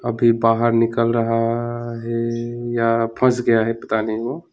फिर बाहर निकल रहा है अये या फस गया है पता नहीं ओ।